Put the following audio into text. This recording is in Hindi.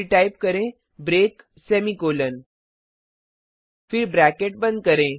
फिर टाइप करें ब्रेक सेमीकॉलन फिर ब्रैकेट बंद करें